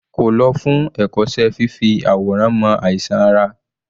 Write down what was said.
Kò lọ fún ẹ̀kọ́ṣẹ́ fífi àwòrán mọ àìsàn ara?